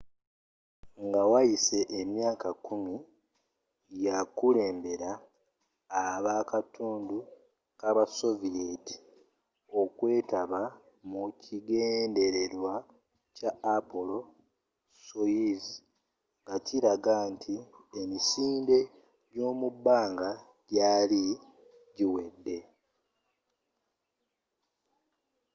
nga wayise emyaka kkumi yakulembera abakatundu kabasoviyeeti okwetaba mu kigendererwa kya apollo-soyuz ngakilaga nti emisinde gyomubbanga gyali giwedde